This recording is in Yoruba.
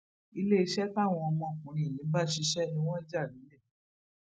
iléeṣẹ táwọn ọmọkùnrin yìí ń bá ṣiṣẹ ni wọn jà lọlẹ